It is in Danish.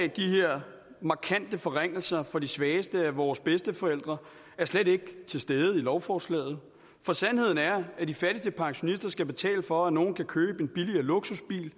de her markante forringelser for de svageste af vores bedsteforældre er slet ikke til stede i lovforslaget for sandheden er at de fattigste pensionister skal betale for at nogle kan købe en billigere luksusbil